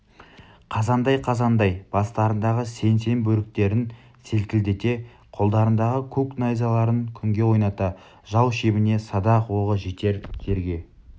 қазандай-қазандай бастарындағы сең-сең бөріктерін селкілдете қолдарындағы көк найзаларын күнге ойната жау шебіне садақ оғы жетер жерге